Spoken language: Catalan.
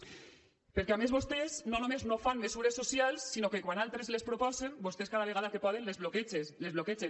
perquè a més vostès no només no fan mesures socials sinó que quan altres les proposen vostès cada vegada que poden les bloquegen